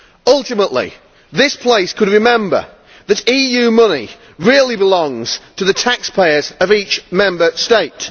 Ultimately, this place could remember that EU money really belongs to the taxpayers of each Member State.